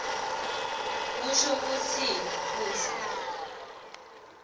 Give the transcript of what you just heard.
kusho kutsini kutsi